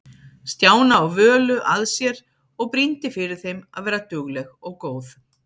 Stjána og Völu að sér og brýndi fyrir þeim að vera dugleg og góð.